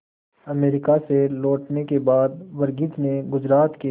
America से लौटने के बाद वर्गीज ने गुजरात के